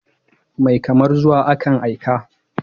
Mai kamar zuwa, akan aika.